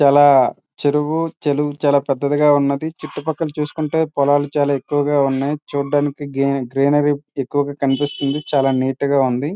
చాలా చెరువు చెరువు చాలా పెద్దదిగా ఉంది. చుట్టూ పక్కలా చూసుకుంటే పొలాలు చాలా ఎక్కువగా ఉన్నాయి. చూడడానికి గ్రీనరీ చాలా ఎక్కువగా కనిపిస్తుంది. చాలా నీట్ గ ఉంది.